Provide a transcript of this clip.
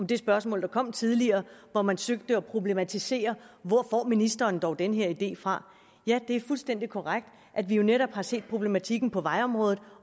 det spørgsmål der kom tidligere hvor man søgte at problematisere hvor ministeren dog fik denne idé fra det er fuldstændig korrekt at vi netop har set problematikken på vejområdet